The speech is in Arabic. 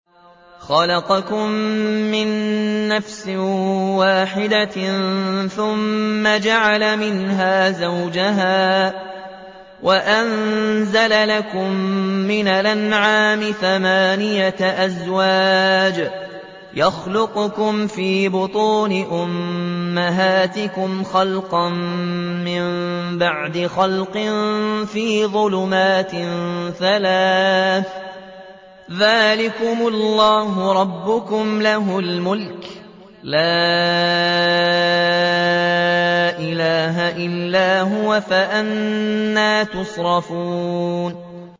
خَلَقَكُم مِّن نَّفْسٍ وَاحِدَةٍ ثُمَّ جَعَلَ مِنْهَا زَوْجَهَا وَأَنزَلَ لَكُم مِّنَ الْأَنْعَامِ ثَمَانِيَةَ أَزْوَاجٍ ۚ يَخْلُقُكُمْ فِي بُطُونِ أُمَّهَاتِكُمْ خَلْقًا مِّن بَعْدِ خَلْقٍ فِي ظُلُمَاتٍ ثَلَاثٍ ۚ ذَٰلِكُمُ اللَّهُ رَبُّكُمْ لَهُ الْمُلْكُ ۖ لَا إِلَٰهَ إِلَّا هُوَ ۖ فَأَنَّىٰ تُصْرَفُونَ